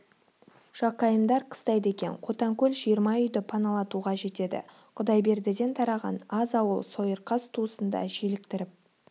жақайымдар қыстайды екен қотанкөл жиырма үйді паналатуға жетеді құдайбердіден тараған аз ауыл сойырқас туысын да желіктіріп